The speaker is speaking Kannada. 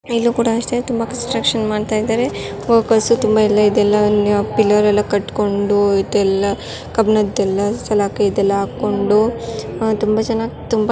ಜನರು_ಮಾತನಾಡುವುದು ಇಲ್ಲೂ ಕೂಡ ಅಷ್ಟೇ ತುಂಬಾ ಕನ್ಸ್ಟ್ರಕ್ಷನ್ ಮಾಡ್ತಾ ಇದ್ದಾರೆ. ವರ್ಕರ್ಸು ತುಂಬಾ ಇಲ್ಲೇ ಇದ್ ಎಲ್ಲವನ್ನ್ ಪಿಲ್ಲರ್ ಎಲ್ಲ ಕಟ್ಕೊಂಡೂ ಇದೆಲ್ಲ ಕಬ್ಬನದೆಲ್ಲ ಇದೆಲ್ಲ ಹಾಕೊಂಡೂ ಅ ತುಂಬ ಚೆನ್ನಾಗ್ ತುಂಬ್-- ಜನರು_ಮಾತನಾಡುವುದು